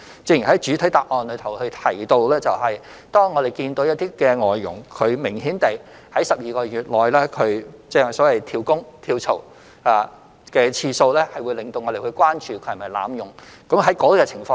正如我在主體答覆中提到，當我們看到一些外傭明顯地在12個月內多次"跳工"或跳槽，會令我們關注外傭有否濫用的情況。